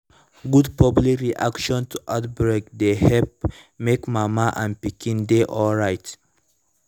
good public reaction to outbreak dey help make mama and pikin dey alright